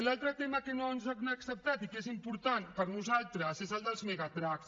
l’altre tema que no ens han acceptat i que és important per nosaltres és el dels megatrucks